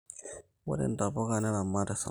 Ore ntapuka neramat esarngab